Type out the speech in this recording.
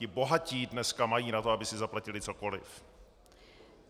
Ti bohatí dneska mají na to, aby si zaplatili cokoliv.